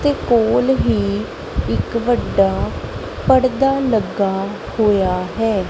ਤੇ ਕੋਲ ਹੀ ਇੱਕ ਵੱਡਾ ਪੜਦਾ ਲੱਗਾ ਹੋਇਆ ਹੈ।